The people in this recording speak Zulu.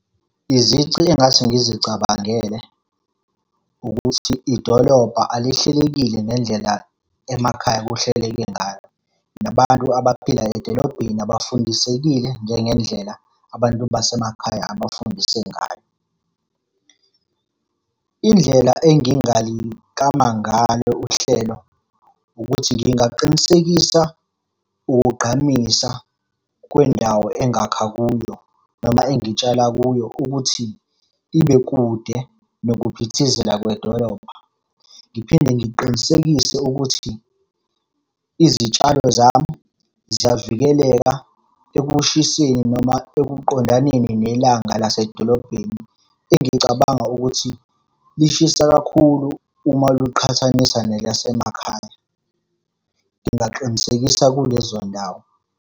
Izici engingase ngizicabangele, ukuthi idolobha alihlelekile ngendlela emakhaya kuhleleke ngayo. Nabantu abaphila edolobheni abafundisekile njengendlela abantu basemakhaya abafundiswe ngayo. Indlela engingaliklama ngalo uhlelo, ukuthi ngingaqinisekisa ukugqamisa kwendawo engakha kuyo noma engitshala kuyo ukuthi, ibe kude nokuphithizela kwedolobha. Ngiphinde ngiqinisekise ukuthi, izitshalo zami ziyavikeleka ekushiseni noma ekuqondaneni nelanga lasedolobheni. Engicabanga ukuthi lishisa kakhulu uma luqhathaniswa nelasemakhaya. Ngingaqinisekisa kulezo ndawo.